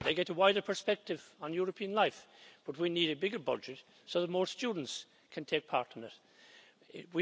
They get a wider perspective on European life, but we need a bigger budget so that more students can take part in it.